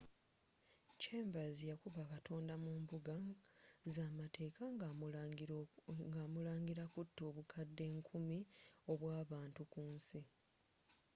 chambers yakuba katonda mu mbbugga z'amateka nga amulanga kuta obukadde nkumu obw'abantu ku nsi